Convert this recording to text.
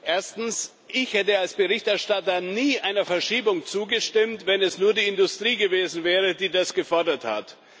Erstens Ich hätte als Berichterstatter nie einer Verschiebung zugestimmt, wenn es nur die Industrie gewesen wäre, die das gefordert hat.